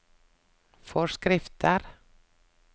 forskrifter